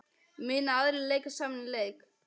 Munu aðrir leika sama leik?